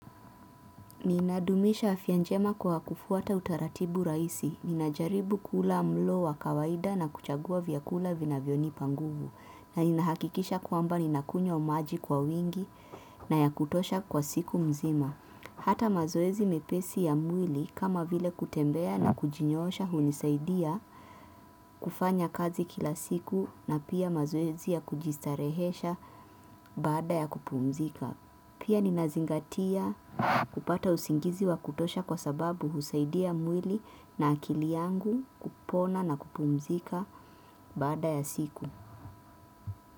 Ninadumisha afya njema kwa kufuata utaratibu rahisi. Nina jaribu kula mlo wa kawaida na kuchagua vyakula vinavyo nipa nguvu. Na ninahakikisha kwamba ninakunya maji kwa wingi na yakutosha kwa siku nzima. Hata mazoezi mepesi ya mwili kama vile kutembea na kujinyoosha hunisaidia kufanya kazi kila siku na pia mazoezi ya kujistarehesha baada ya kupumzika. Pia ninazingatia kupata usingizi wa kutosha kwa sababu husaidia mwili na akili yangu kupona na kupumzika baada ya siku.